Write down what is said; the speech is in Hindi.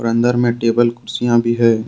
अंदर में टेबल कुर्सियां भी हैं।